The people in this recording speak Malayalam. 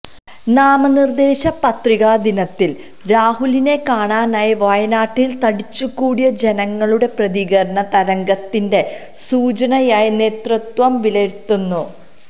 നാമനിര്ദേശ പത്രികാ ദിനത്തില് രാഹുലിനെ കാണാനായി വയനാട്ടില് തടിച്ചുകൂടിയ ജനങ്ങളുടെ പ്രതികരണം തരംഗത്തിന്റെ സൂചനയായി നേതൃത്വം വിലയിരുത്തുന്നു